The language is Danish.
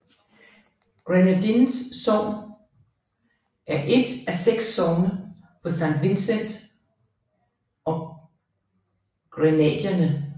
Grenadines sogn er et af seks sogne på Saint Vincent og Grenadinerne